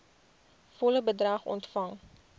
volle bedrag ontvang